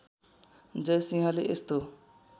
जय सिंहले यस्तो